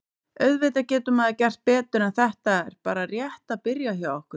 Auðvitað getur maður gert betur en þetta er bara rétt að byrja hjá okkur.